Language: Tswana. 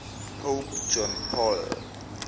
pope john paul